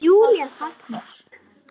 Júlía þagnar.